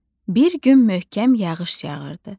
Bir gün möhkəm yağış yağırdı.